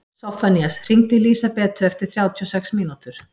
Soffanías, hringdu í Lísabetu eftir þrjátíu og sex mínútur.